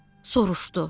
Soruşdu: